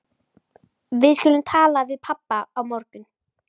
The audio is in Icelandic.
Við skulum tala við pabba á morgun.